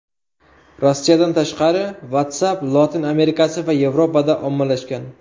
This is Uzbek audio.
Rossiyadan tashqari WhatsApp Lotin Amerikasi va Yevropada ommalashgan.